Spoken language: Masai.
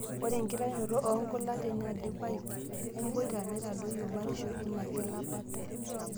Ore enkitainoto oo nkulak teneidipai emboita neitadoyio batisho ina kilapata.